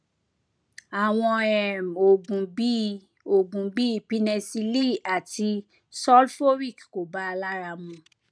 àwọn um oògùn bíi oògùn bíi pinnecilli àti sulphoric kò bàa lára mu